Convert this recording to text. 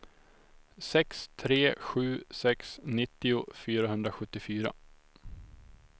sex tre sju sex nittio fyrahundrasjuttiofyra